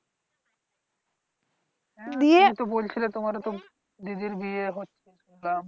তুমি তো তো বলছিলে তোমার তো দিদির বিয়ে হচ্ছে শুনছিলাম।